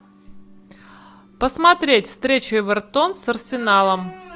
посмотреть встречу эвертон с арсеналом